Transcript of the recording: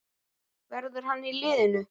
Verður hann í liðinu?